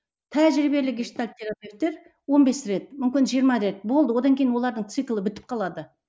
тәжірибелі гештальт терапевтер он бес рет мүмкін жиырма рет болды одан кейін олардың циклы бітіп қалады